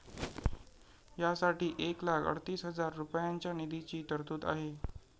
या साठी एक लाख अडतीस हजार रुपयांच्या निधीची तरतूद आहे.